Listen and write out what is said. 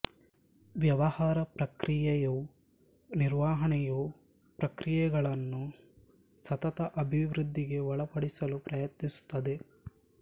ವ್ಯವಹಾರ ಪ್ರಕ್ರಿಯೆಯು ನಿರ್ವಹಣೆಯು ಪ್ರಕ್ರಿಯೆಯೆಗಳನ್ನು ಸತತ ಅಭಿವೃದ್ಧಿಗೆ ಒಳಪಡಿಸಲು ಪ್ರಯತ್ನಿಸುತ್ತದೆ